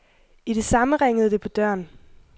I det samme ringede det på døren.